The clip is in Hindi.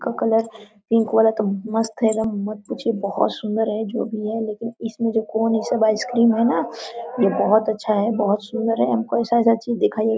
इसका कलर पिंक वाला मस्त है एकदम मत पुछिये बहुत सुन्दर है जो भी है लेकिन इसमें जो कोण आइस क्रीम ये सब है न ये बहुत अच्छा है बहुत सुन्दर है हमको ऐसा-ऐसा चीज दिखाई--